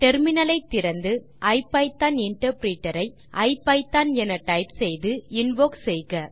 terminal ஐ திறந்து IPython interpreter ஐ ஐபிதான் என டைப் செய்து இன்வோக் செய்க